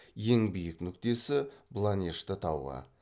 ең биік нүктесі бланешты тауы